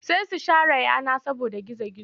Sai su share yana saboda gizo-gizo.